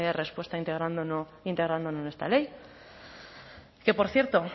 respuesta integrándolo en esta ley que por cierto